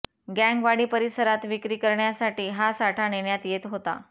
गँगवाडी परिसरात विक्री करण्यासाठी हा साठा नेण्यात येत होता